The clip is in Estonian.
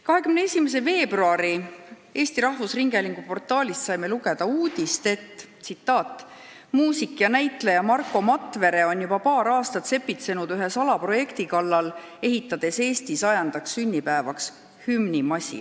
21. veebruaril saime Eesti Rahvusringhäälingu portaalist lugeda uudist: "Muusik ja näitleja Marko Matvere on juba paar aastat sepitsenud ühe salaprojekti kallal, ehitades Eesti 100. sünnipäevaks hümnimasinat.